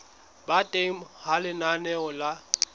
ba teng ha lenaneo la